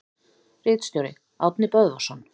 Ritstjóri: Árni Böðvarsson.